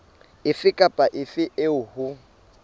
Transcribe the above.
efe kapa efe eo ho